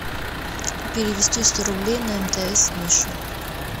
перевести сто рублей на мтс мише